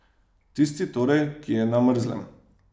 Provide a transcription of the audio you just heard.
Tisti torej, ki je na mrzlem.